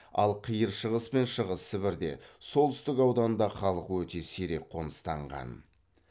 ал қиыр шығыс пен шығыс сібірде солтүстік ауданда халық өте сирек қоныстанған